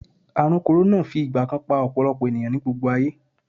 Ààrùn kòrónà fi ìgbà kan pa ọ̀pọ̀lọpọ̀ ènìyàn ní gbogbo ayé